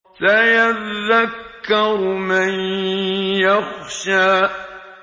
سَيَذَّكَّرُ مَن يَخْشَىٰ